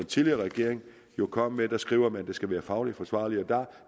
tidligere regering jo kom med skriver man at det skal være fagligt forsvarligt og der